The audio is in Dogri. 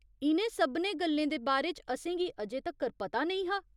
इ'नें सभनें गल्लें दे बारे च असेंगी अजें तक्कर पता नेईं हा।